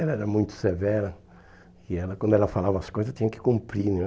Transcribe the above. Ela era muito severa e ela quando ela falava as coisas tinha que cumprir né.